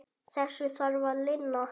Þessu þarf að linna.